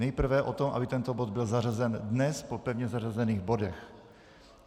Nejprve o tom, aby tento bod byl zařazen dnes po pevně zařazených bodech.